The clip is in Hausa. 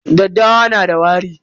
Daddawa na da wari.